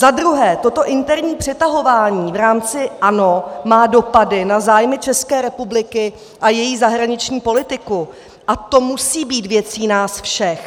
Za druhé, toto interní přetahování v rámci ANO má dopady na zájmy České republiky a její zahraniční politiku a to musí být věcí nás všech.